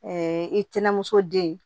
i tɛnɛmuso den